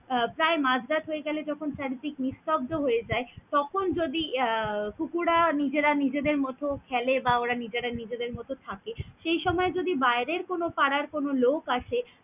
প্রায় মাঝ রাত হয়ে গেলে যখন চারিদিক নিস্তব্দ হয়ে যায় তখন যদি আহ কুকুরা নিজেরা নিজেদের মতো খেলে বা নিজেরা নিজেদের মতন থাকে সেই সময় যদি বাইরের কোনও পাড়ার কোনো লোক আসে।